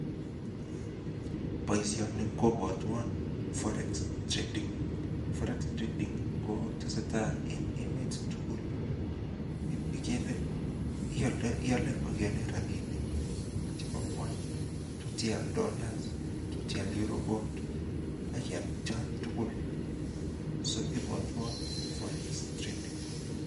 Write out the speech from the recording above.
Boisioni kobwotwon forex trading, forex trading[fx] kotesetai en emet tugul. Iale ak ialdoi rapinik chebo ngony tugul. Tot ial Dollars, tot ial Euro Bond ak ial chon tugul. Soibwatwan forex trading.